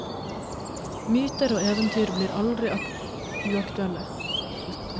Myter og eventyr blir aldri uaktuelle.